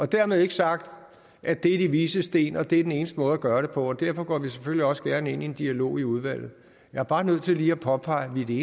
dermed ikke sagt at det er de vises sten og at det er den eneste måde at gøre det på derfor går vi selvfølgelig også gerne ind i en dialog i udvalget jeg er bare nødt til lige at påpege at vi